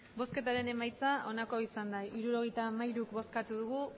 emandako botoak hirurogeita hamairu bai